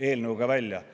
eelnõuga välja tulla.